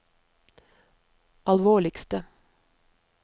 alvorligste